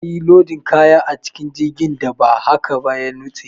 Kar a yi lodin kaya a cikin jirgin idan ba haka ba ya nutse.